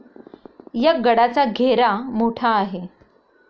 या गडाचा घेरा मोठा आहे.